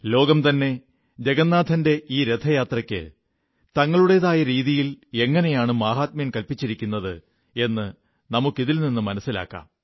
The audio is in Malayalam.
ലോകംതന്നെ ജഗന്നാഥന്റെ ഈ രഥയാത്രയ്ക്ക് തങ്ങളുടേതായ രീതിയിൽ എങ്ങനെയാണ് മാഹാത്മ്യം കല്പ്പിച്ചിരിക്കുന്നതെന്ന് നമുക്കിതിൽ നിന്ന് മനസ്സിലാക്കാം